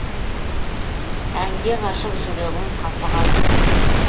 әнге ғашық жүрегім қапы қалма